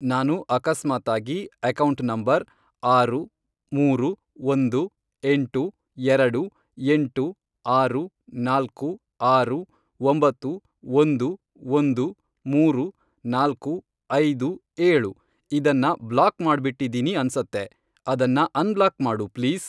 ನಾನು ಅಕಸ್ಮಾತಾಗಿ account number, ಆರು, ಮೂರು, ಒಂದು, ಎಂಟು, ಎರಡು, ಎಂಟು, ಆರು, ನಾಲ್ಕು, ಆರು, ಒಂಬತ್ತು, ಒಂದು, ಒಂದು, ಮೂರು, ನಾಲ್ಕು, ಐದು, ಏಳು, ಇದನ್ನ ಬ್ಲಾಕ್ ಮಾಡ್ಬಿಟ್ಟಿದೀನಿ ಅನ್ಸತ್ತೆ, ಅದನ್ನ ಅನ್ಬ್ಲಾಕ್ ಮಾಡು ಪ್ಲೀಸ್.